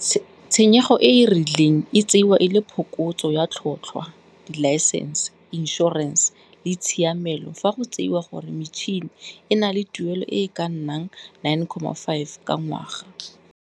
Tshenyego e e rileng e tseiwa e le phokotso ya tlhotlhwa, dilaesense, inšhorense le tshiamelo fa go tseiwa gore metšhene e na le tuelo e e ka nnang 9,5 ka ngwaga.